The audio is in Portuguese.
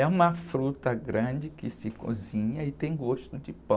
É uma fruta grande que se cozinha e tem gosto de pão.